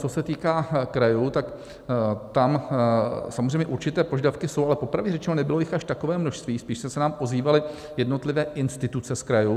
Co se týká krajů, tak tam samozřejmě určité požadavky jsou, ale popravdě řečeno nebylo jich až takové množství, spíše se nám ozývaly jednotlivé instituce z krajů.